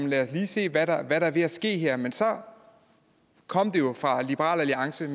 lad os lige se hvad der er ved at ske her men så kom det jo fra liberal alliance at